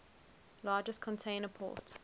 largest container port